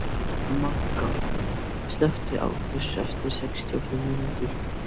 Manga, slökktu á þessu eftir sextíu og fimm mínútur.